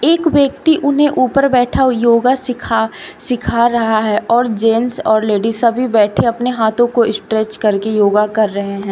एक व्यक्ति उन्हें ऊपर बैठा योगा सीखा सीखा रहा है और जेंट्स और लेडीज सभी बैठे अपने हाथों को स्ट्रेच करके योगा कर रहे हैं।